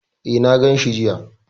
E, na ganshi jiya.